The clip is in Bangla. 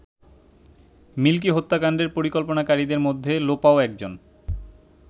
মিল্কি হত্যাকাণ্ডের পরিকল্পনাকারীদের মধ্যে লোপাও একজন।